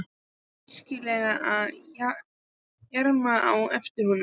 Var hún virkilega að jarma á eftir honum?